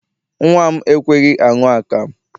Nnwa m ekweghị aṅụ akamụ.